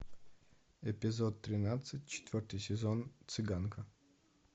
эпизод тринадцать четвертый сезон цыганка